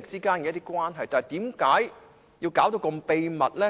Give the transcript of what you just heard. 之間關係，但為何要弄到這麼秘密呢？